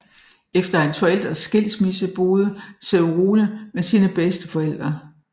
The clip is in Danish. Efter hans forældres skilsmisse boede Cerrone med sine bedsteforældre